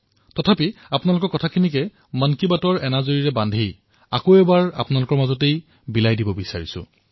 তথাপিও মই আপোনালোকৰ বহুমূলীয়া চিন্তাধাৰা পুনৰ বিচাৰিছো যি মন কী বাতৰ অৱগুণ্ঠনত সূতাৰ ভূমিকা পালন কৰে